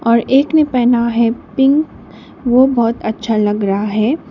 और एक ने पहना है पिंक वो बहोत अच्छा लग रहा है।